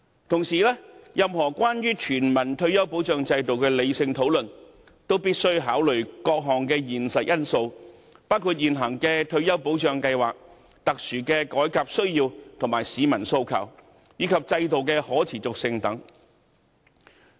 同時，任何有關全民退休保障制度的理性討論，也必須考慮各項現實因素，包括現行的退休保障計劃、特殊的改革需要和市民訴求，以及制度的可持續性等。